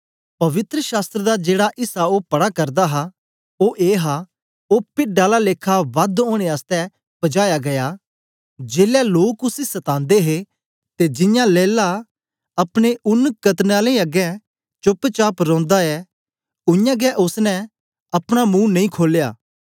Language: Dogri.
पवित्र शास्त्र दा जेड़ा ऐसा ओ पढ़ा करदा हा ओ ए हा ओ पिड्ड आला लेखा वध ओनें आसतै पजाया गीया जेलै लोक उसी सतांदे हे ते जियां लैला अपने ऊन कतरने आलें अगें चोप्प चाप रौंदा ऐ उय्यां गै ओसने अपना मुंह नेई खोलया